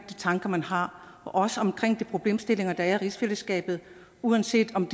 tanker man har og også om de problemstillinger der er i rigsfællesskabet uanset om